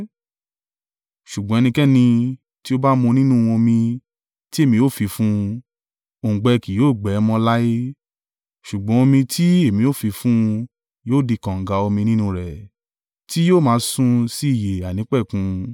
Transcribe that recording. Ṣùgbọ́n ẹnikẹ́ni tí ó bá mu nínú omi tí èmi ó fi fún un, òǹgbẹ kì yóò gbẹ ẹ́ mọ́ láé; ṣùgbọ́n omi tí èmi ó fi fún un yóò di kànga omi nínú rẹ̀, tí yóò máa sun si ìyè àìnípẹ̀kun.”